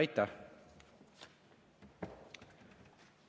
Aitäh!